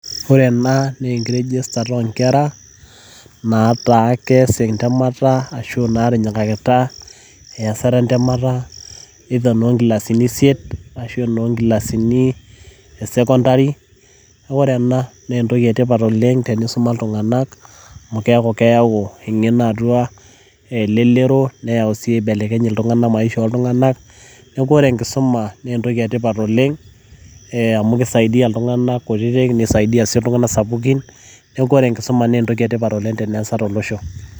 ore ena naa enkiregistata oo nkera nataa kees entemata, either enoo nkilasini isiet, ashu enoo nkilasini e sekontari. naa ore ena, naa entoki etipat oleng enisuma ltunganak, amu eyau engeno atu eleroro. neeku ore enkisuma naa entoki etipat oleng'.amu kisaidia iltunganakkutitik, nisaidia sii iltunganak sapukin, neeku ore enkisuma naa entoki sidai tolosho.